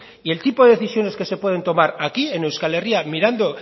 y el tipo de decisiones que se pueden tomar aquí en euskal herria mirando